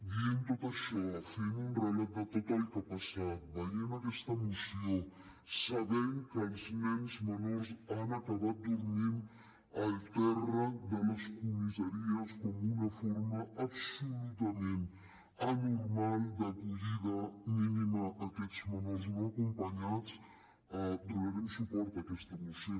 dient tot això fent un relat de tot el que ha passat veient aquesta moció sabent que els nens menors han acabat dormint al terra de les comissaries com una forma absolutament anormal d’acollida mínima a aquests menors no acompanyats donarem suport a aquesta moció